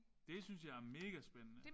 Det synes jeg er megaspændende